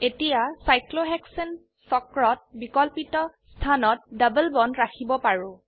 এতিয়া সাইক্লোহেক্সেন চক্ৰত বিকল্পিত স্থানত ডবল বন্ড ৰাখিব পাৰো